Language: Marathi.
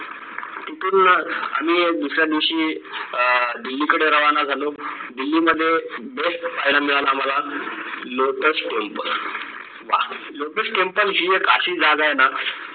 कुतुब मिनार आम्ही एक दुसऱ्या दिवशी अह दिल्ली कडे रवाना झालो दिल्ली मध्ये best पाहायला मिळाला आम्हाला lotus temple वाह lotus temple ही एक अशी जागा आहे ना